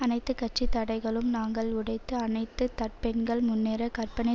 அனைத்து கட்சி தடைகளும் நாங்கள் உடைத்து அனைத்து தப்பெண்ணங்கள் முன்னரே கற்பனை